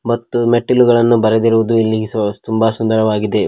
ಮತ್ತು ಮೆಟ್ಟಿಲುಗಳನ್ನು ಬರೆದಿರುವುದು ಇಲ್ಲಿ ತುಂಬ ಸುಂದರವಾಗಿದೆ.